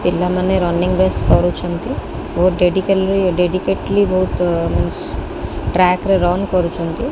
ପିଲାମାନେ running base କରୁଛନ୍ତି ବହୁତ୍ ଡେକେଟିଭିଲି ଡେଡିକେଟିଲି ବହୁତ୍ ଟ୍ରାକ ରେ ରନ କରୁଛନ୍ତି।